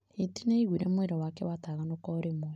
Hiti nĩ aaiguire mwĩrĩ wake wataganũka o rĩmwe.